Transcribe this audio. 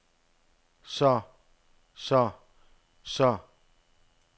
så så så